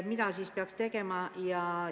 Mida siis peaks tegema?